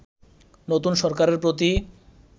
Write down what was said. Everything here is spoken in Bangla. নতুন সরকারের প্রতি